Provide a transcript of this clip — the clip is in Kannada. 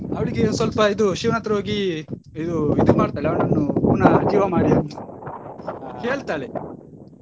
ಅವಳಿಗೆ ಸ್ವಲ್ಪ ಇದು ಶಿವನತ್ರ ಹೋಗಿ ಇದು ಇದು ಮಾಡ್ತಾಳೆ ಅವನನ್ನು ಪುನಃ ಜೀವ ಮಾಡಿ ಅಂತ .